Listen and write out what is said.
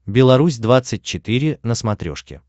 беларусь двадцать четыре на смотрешке